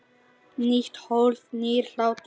Nýtt hólf- nýr hlátur